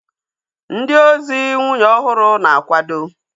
Ndị ozi nwunye ọhụrụ na-akwado